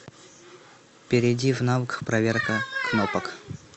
перейди в навык проверка кнопок